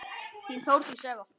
Þín, Þórdís Eva.